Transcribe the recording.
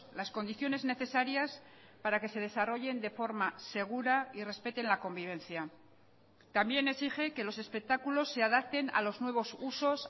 las condiciones necesarias para que se desarrollen de forma segura y respeten la convivencia también exige que los espectáculos se adapten a los nuevos usos